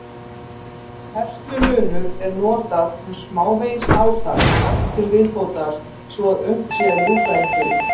Herslumunur er notað um smávegis átak til viðbótar svo að unnt sé að ljúka einhverju.